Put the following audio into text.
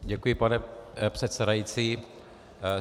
Děkuji, pane předsedající.